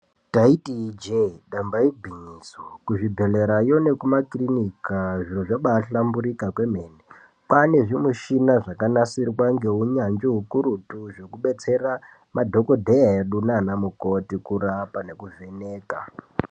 Taiti ijehe damba igwinyiso, kuzvibhedlera yoo nekumaklinika zvinhu zvabahlamburika kwemene, kwaanezvimishina zvakanasirwa ngehunyanzvi hukurutu zvekudetsera madhogodheya edu nanamukoti kurapa ngekuveneka.